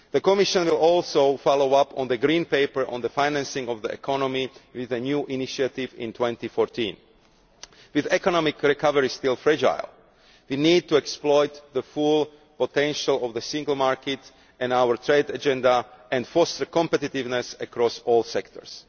The Commission will also follow up on the Green Paper on the Financing of the Economy with a new initiative in 2014. With economic recovery still fragile, we need to exploit the full potential of the single market and our trade agenda and force competitiveness across all sectors.